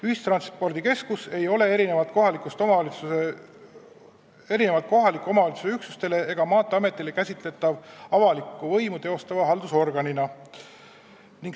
Ühistranspordikeskus ei ole erinevalt kohaliku omavalitsuse üksustest ega Maanteeametist käsitatav avalikku võimu teostava haldusorganina.